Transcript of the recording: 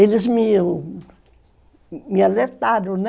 Eles me alertaram, né?